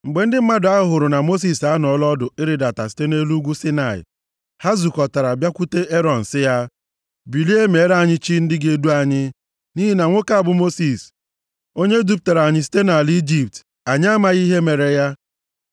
Mgbe ndị mmadụ ahụ hụrụ na Mosis anọọla ọdụ ịrịdata site nʼelu ugwu Saịnaị, ha zukọtara, bịakwute Erọn, sị ya, “Bilie, meere anyị chi ndị ga-edu anyị, nʼihi na nwoke a bụ Mosis onye dupụtara anyị site nʼala Ijipt, anyị amaghị ihe mere ya.”